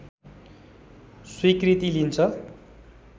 स्वीकृति लिन्छ